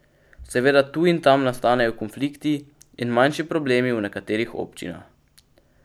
Seveda tu in tam nastanejo konflikti in manjši problemi v nekaterih občinah.